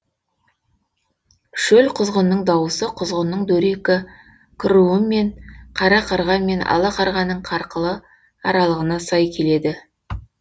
шөл құзғынның дауысы құзғынның дөрекі круы мен қара қарға мен ала қарғаның қарқылы аралығына сай келеді